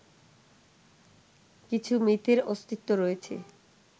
কিছু মিথের অস্তিত্ব রয়েছে